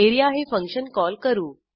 A R E A हे function call करू